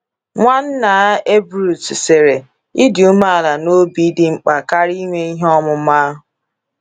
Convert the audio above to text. Nwannaa Ebrus sịrị: Ịdị umeala n’obi dị mkpa karịa inwe ihe ọmụma.